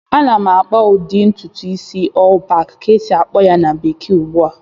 Ana m akpa ụdị ntụtụ isi "all back" ka esi-akpọ ya na bekee ugbu a